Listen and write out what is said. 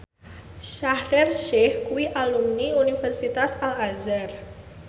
Shaheer Sheikh kuwi alumni Universitas Al Azhar